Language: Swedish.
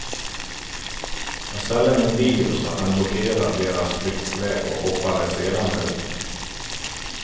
Jag ställde min bil så att den blockerade deras flyktväg och hoppade sedan ut.